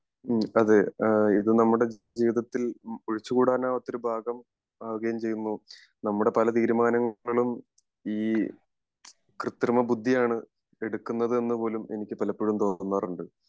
ഉം അതെ ഇത് നമ്മുടെ ജീവിതത്തിൽ ഒഴിച്ച് കൂടാനാവാത്ത ഒരു ഭാഗം ആവുകയും ചെയ്യുന്നു നമ്മുടെ പല തീരുമാനങ്ങളും ഈ കൃതൃമ ബുദ്ധി ആണ് എടുകേണ്ടത് എന്ന് പോലും എനിക്ക് പലപ്പോഴും തോന്നാറുണ്ട്